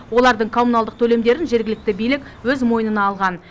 олардың коммуналдық төлемдерін жергілікті билік өз мойнына алған